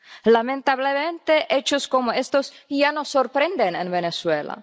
Lamentablemente, hechos como estos ya no sorprenden en Venezuela.